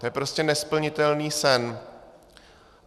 To je prostě nesplnitelný sen.